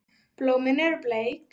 Blómin eru bleik.